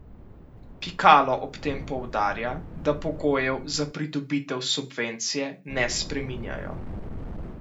Pikalo ob tem poudarja, da pogojev za pridobitev subvencije ne spreminjajo.